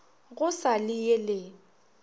go sa le ye le